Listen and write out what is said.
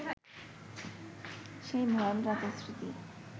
সেই ভয়াল রাতের স্মৃতি